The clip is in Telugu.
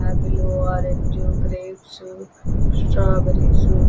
apple orange grapes strawberries --